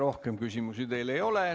Rohkem küsimusi teile ei ole.